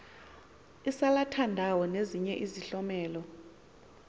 isalathandawo nezinye izihlomelo